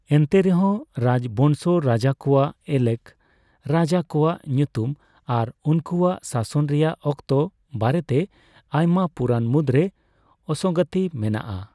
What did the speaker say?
ᱮᱱᱛᱮᱨᱮᱦᱚᱸ, ᱨᱟᱡᱵᱚᱝᱥᱚ ᱨᱟᱡᱟ ᱠᱚᱣᱟᱜ ᱮᱞᱮᱠ, ᱨᱟᱡᱟ ᱠᱚᱣᱟᱜ ᱧᱩᱛᱩᱢ ᱟᱨ ᱩᱱᱠᱩᱣᱟᱜ ᱥᱟᱥᱚᱱ ᱨᱮᱭᱟᱜ ᱚᱠᱛᱚ ᱵᱟᱨᱮᱛᱮ ᱟᱭᱢᱟ ᱯᱩᱨᱟᱱ ᱢᱩᱫᱨᱮ ᱚᱥᱚᱜᱚᱝᱛᱤ ᱢᱮᱱᱟᱜᱼᱟ ᱾